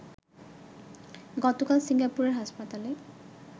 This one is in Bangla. গতকাল সিঙ্গাপুরের হাসপাতালে